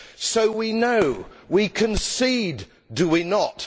So we know we concede, do we not?